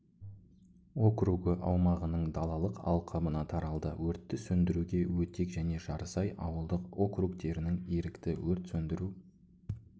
округі аумағының далалық алқабына таралды өртті сөндіруге өтек және жарысай ауылдық округтерінің ерікті өрт сөндіру